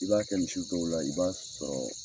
I b'a kɛ misi dɔw la i b'a sɔrɔ.